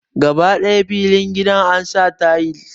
Gaba ɗaya filin gidan ansa tayil